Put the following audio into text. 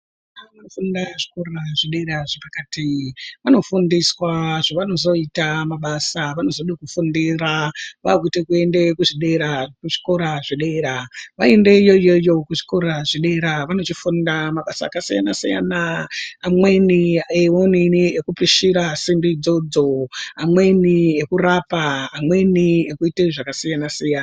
Vanofunda kuzvikora zvedera zvepakati vanofundiswa zvavanozoita mabasa avanozode kufundira vakuda kuende kuzvikora zvedera, vanoende kona iyoyoyo kuzvikora zvedera vanofunda mabasa akasiyana-siyana amweni ewonini ekupishira simbi dzodzo, amweni ekurapa, amweni ekuita zvakasiyana-siyana.